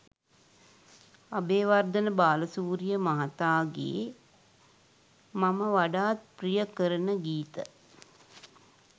අබේවර්ධන බාලසූරිය මහතාගේ මම වඩාත් ප්‍රිය කරන ගීත